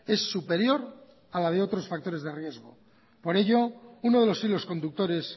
es superior a la de otros factores de riesgo por ello uno de los hilos conductores